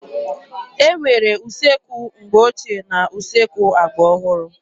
E nwere usekwu mgbe ochie na usekwu agba ọhụrụ.